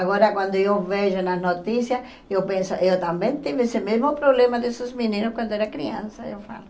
Agora quando eu vejo nas notícias, eu penso, eu também tive esse mesmo problema desses meninos quando era criança, eu falo.